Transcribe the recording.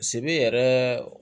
Sibi yɛrɛ